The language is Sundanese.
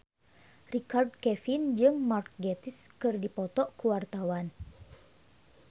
Richard Kevin jeung Mark Gatiss keur dipoto ku wartawan